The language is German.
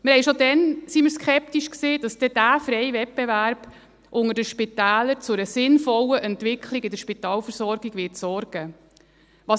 Wir waren schon damals skeptisch, ob dieser freie Wettbewerb unter den Spitälern für eine sinnvolle Entwicklung in der Spitalversorgung sorgen wird.